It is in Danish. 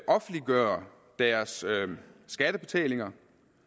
offentliggøre deres skattebetalinger